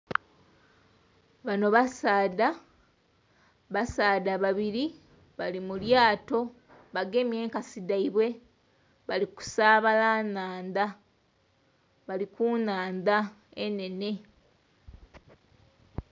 Banho basaadha, basaadha babili. Bali mu lyaato, bagemye enkasi dhaibwe. Bali kusaabala nhandha. Bali ku nhandha enhenhe.